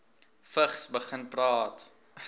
vigs begin praat